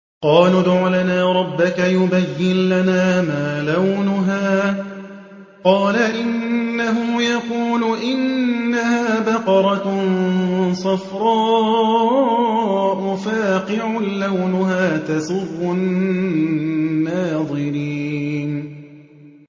قَالُوا ادْعُ لَنَا رَبَّكَ يُبَيِّن لَّنَا مَا لَوْنُهَا ۚ قَالَ إِنَّهُ يَقُولُ إِنَّهَا بَقَرَةٌ صَفْرَاءُ فَاقِعٌ لَّوْنُهَا تَسُرُّ النَّاظِرِينَ